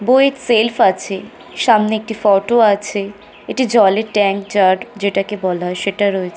বইয়ের সেলফ আছে সামনে একটি ফটো আছে এটি জলের ট্যাংঙ্ক জার যেটাকে বলা হয় সেটা রয়--